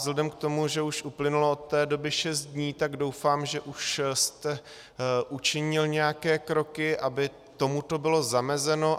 Vzhledem k tomu, že už uplynulo od té doby šest dní, tak doufám, že už jste učinil nějaké kroky, aby tomuto bylo zamezeno.